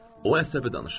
O əsəbi danışırdı.